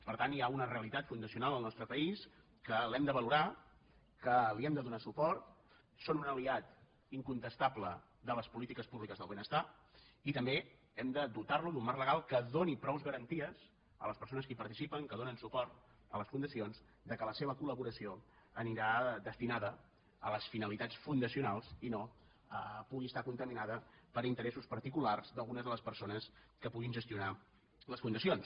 per tant hi ha una realitat fundacional al nostre país que l’hem de valorar que li hem de donar suport són un aliat in·contestable de les polítiques públiques del benestar i també hem de dotar·lo d’un marc legal que doni prou garanties a les persones que hi participen que donen suport a les fundacions que la seva col·laboració anirà destinada a les finalitats fundacionals i no pugui estar contaminada per interessos particulars d’algunes de les persones que puguin gestionar les fundacions